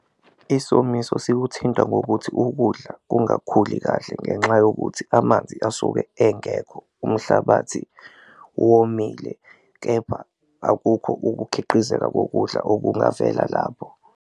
Isomiso sikuthinta ngokuthi ukudla kungakhuli kahle ngenxa yokuthi amanzi asuke engekho umhlabathi womile, kepha akukho ukukhiqizeka kokudla okungavela labo.